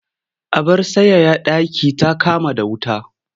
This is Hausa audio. Abar sanyaya ɗaki ta kama da wuta.